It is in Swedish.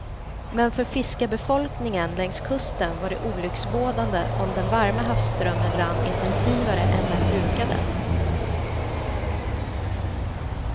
Men för fiskarbefolkningen längs kusten var det olycksbådande om den varma havsströmmen rann intensivare än den brukade.